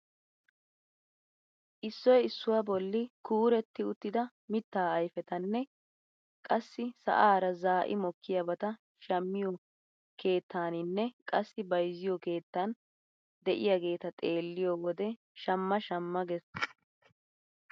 Issoy issuwaa bolli kuuretti uttida mittaa ayfetanne qassi sa'aara zaa'i mokkiyaabata shammiyoo kettaninne qassi bayzziyoo keettan de'iyaageta xeelliyoo wode shamma shamma ges!